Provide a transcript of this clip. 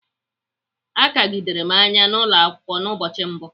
Akagidere m anya n'ụlọakwụkwọ n*ụbọchị mbụ.